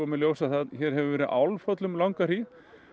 í ljós að hér hefur verið Álfhóll um langa hríð